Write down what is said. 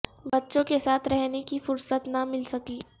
بچوں کے ساتھ رہنے کی فرصت نہ مل سکی